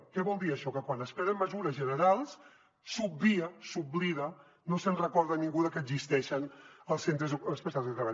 què vol dir això que quan es prenen mesures generals s’obvia s’oblida no se’n recorda ningú de que existeixen els centres especials de treball